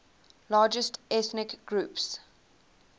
largest ethnic groups